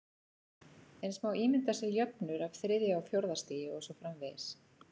Eins má ímynda sér jöfnur af þriðja og fjórða stigi og svo framvegis.